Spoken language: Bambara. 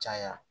Caya